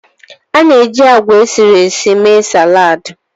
A na-eji agwa esiri ési émee saladi